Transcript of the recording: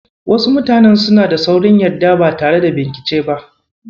Wasu mutanen suna da saurin yarda ba tare da binkice ba.